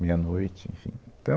Meia noite, enfim. Então